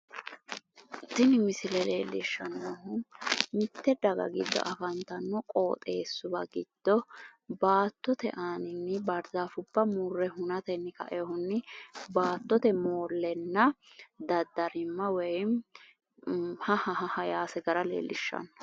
Tini misile leellishshannohu mitte daga giddo afantanno qooxeessuwa giddo baattote aaninni baarzaafubba hunatenni kainohunni baattote moollenna woyim haha yaase leellishshanno.